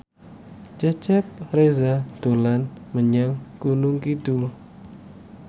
Cecep Reza dolan menyang Gunung Kidul